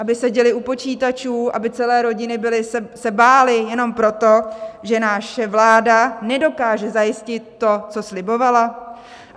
Aby seděli u počítačů, aby celé rodiny se bály jenom proto, že naše vláda nedokáže zajistit to, co slibovala?